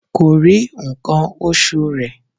Kòrí ǹkan oṣù rẹ̀